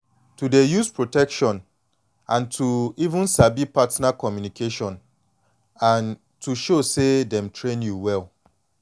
to dey use protection and to even sabi partner communication and to show say dem train you well